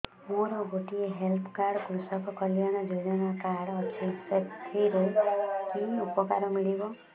ମୋର ଗୋଟିଏ health card କୃଷକ କଲ୍ୟାଣ ଯୋଜନା କାର୍ଡ ଅଛି ସାଥିରେ କି ଉପକାର ମିଳିବ